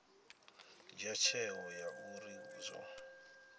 dzhia tsheo ya uri zwo